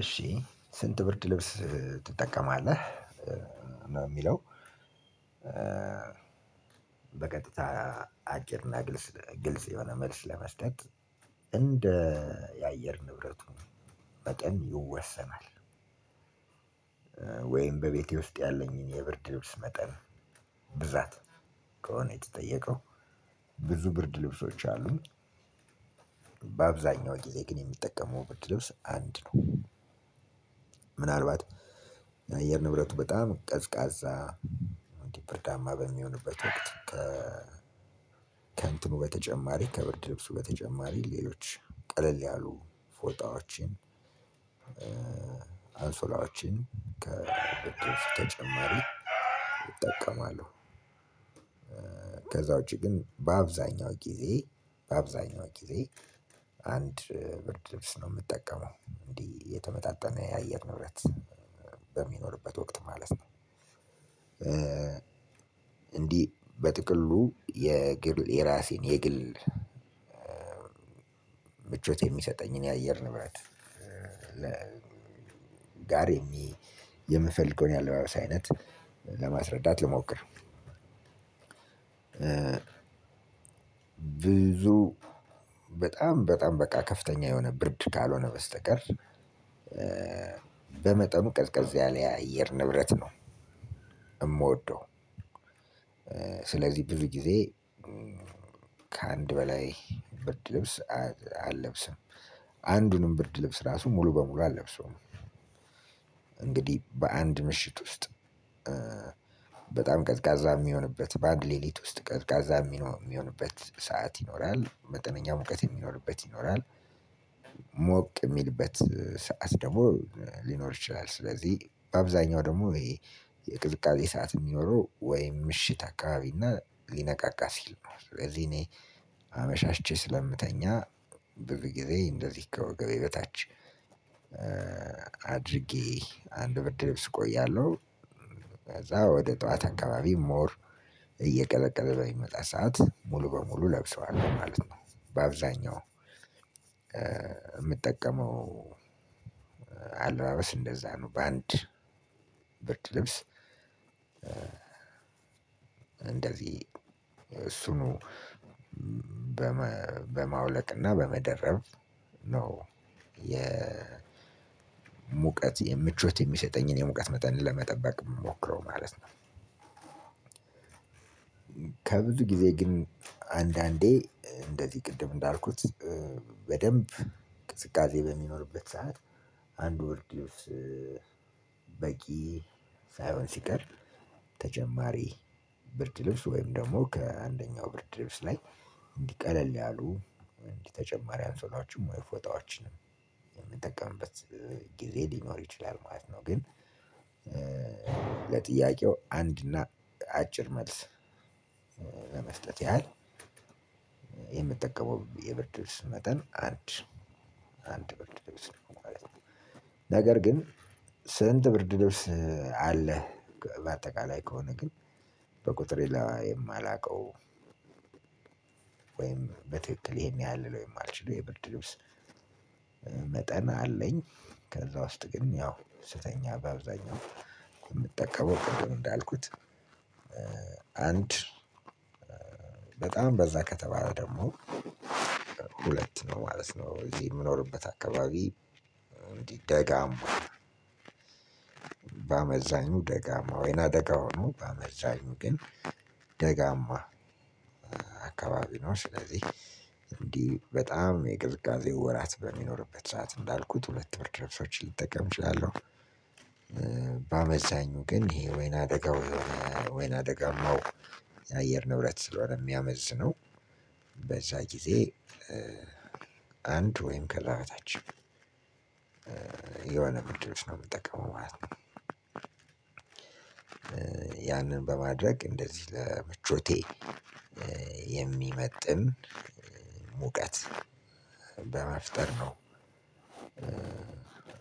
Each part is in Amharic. እሺ ስንት ብርድ ልብስ ትጠቀማለህ ነው ሚለው በቀጥታ አጭርና ግልጽ የሆነ መልስ ለመስጠት እንደ የአየር ንብረቱ መጠን ይወሰናል። ወይም በቤቴ ውስጥ ያለኝን የብርድ ልብስ መጠን ብዛት ከሆነ የተጠየቀው ብዙ ብርድ ልብሶች አሉኝ በአብዛኛው ጊዜ ግን የምጠቀመው ብርድ ልብስ አንድ ነው። ምናልባት የአየር ንብረቱ በጣም ቀዝቃዛ እንዲ ብርዳማ በሚሆንበት ወቅት ከእንትኑ በተጨማሪ ከብርድ ልብሱ በተጨማሪ ሌሎች ቀለል ያሉ ፎጣዎችን አንሶላዎችን ከብርድ ልብስ ተጨማሪ እጠቀማለሁ። ከዛ ውጪ ግን በአብዛኛው ጊዜ በአብዛኛው ጊዜ አንድ ብርድ ልብስ ነው ምጠቀመው እንዲ የተመጣጠነ የአየር ንብረት በሚኖርበት ወቅት ማለት ነው። እንዲህ በጥቅሉ የግል የራሴን የግል ምቾት የሚሰጠኝን የአየር ንብረት ጋር የምፈልገውን የአለባበስ አይነት ለማስረዳት ልሞክር። ብዙ በጣም በጣም በቃ ከፍተኛ የሆነ ብርድ ካልሆነ በስተቀር በመጠኑ ቀዝቀዝ ያለ የአየር ንብረት ነው። ምወደው ስለዚህ ብዙ ጊዜ ከአንድ በላይ ብርድ ልብስ አለብስም አንዱንም ብርድ ልብስ ራሱ ሙሉ በሙሉ አለብሰውም። እንግዲህ በአንድ ምሽት ውስጥ በጣም ቀዝቃዛ ሚሆንበት በአንድ ሌሊት ውስጥ ቀዝቃዛ ሚሆንበት ሰዓት ይኖራል መጠነኛ ሙቀት የሚኖርበት ይኖራል። ሞቅ ሚልበት ሰዓት ደግሞ ሊኖር ይችላል ስለዚህ በአብዛኛው ደግሞ ይሄ የቅዝቃዜ ሰዓት ሚኖረው ወይም ምሽት አካባቢና ሊነጋጋ ሲል ነው ስለዚህ እኔ አመሻሽቼ ስለምተኛ ብዙጊዜ እንደዚህ ከወገቤ በታች አድርጌ አንድ ብርድ ልብስ እቆያለሁ። ከዛ ወደ ጠዋት አካባቢ ሞር እየቀዘቀዘ በሚመጣ ሰዓት ሙሉ በሙሉ ለብሰዋለው ማለት ነው። በአብዛኛው ምጠቀመው አለባበስ እንደዛ ነው። በአንድ ብርድ ልብስ እንደዚህ እሱኑ በማውለቅና በመደረብ ነው የሙቀት የምቾት የሚሰጠኝን የሙቀት መጠን ለመጠበቅ ምሞክረው ማለት ነው። ከብዙ ጊዜ ግን አንዳንዴ እንደዚህ ቅድም እንዳልኩት በደንብ ቅዝቃዜ በሚኖርበት ሰዓት አንዱ ብርድ ልብስ በቂ ሳይሆን ሲቀር ተጨማሪ ብርድ ልብስ ወይም ደግሞ ከአንደኛው ብርድ ልብስ ላይ እንዲ ቀለል ያሉ እንዲህ ተጨማሪ አንሶላችሁም ወይ ፎጣዎችንም ምጠቀምበት ጊዜ ሊኖር ይችላል ማለት ነው። ግን ለጥያቄው አንድና አጭር መልስ ለመስጠት ያህል የምጠቀመው የብርድ ልብስ መጠን አንድ አንድ ብርድ ልብስ ነው ማለት ነው። ነገር ግን ስንት ብርድ ልብስ አለህ? በአጠቃላይ ከሆነ ግን በቁጥር ላይ የማላውቀው ወይም በትክክል ይሄን ያህል ልለው የማልችለው የብርድ ልብስ መጠን አለኝ። ከዛ ውስጥ ግን ያው ስተኛ በአብዛኛው የምጠቀመው ቅድም እንዳልኩት አንድ በጣም በዛ ከተባለ ደግሞ ሁለት ነው ማለት ነው። እዚህ ምኖርበት አካባቢ እንዲ ደጋማ በአመዛኙ ደጋማ ወይና ደጋ ሆኖ በአመዛኙ ግን ደጋማ አካባቢ ነው። ስለዚህ እንዲህ በጣም የቅዝቃዜ ወራት በሚኖርበት ሰዓት እንዳልኩት ሁለት ብርድ ልብሶችን ልጠቀም እችላለሁ። በአመዛኙ ግን ይሄ ወይና ደጋ ወይም ወይና ደጋማው የአየር ንብረት ስለሆነ ሚያመዝነው በዛ ጊዜ አንድ ወይም ከላ በታች የሆነ ብርድ ልብስ ነው ምጠቀመው ማለት ነው። ያንን በማድረግ እንደዚህ ለምቾቴ የሚመጥን ሙቀት በመፍጠር ነው።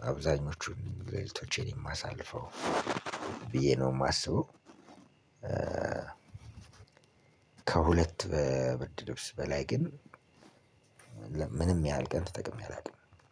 አብዛኞቹን ሌሊቶቼን የማሳልፈው ብዬ ነው ማስበው። ከሁለት ብርድ ልብስ በላይ ግን ምንም ያህል ቀን ተጠቅሜ አላውቅም።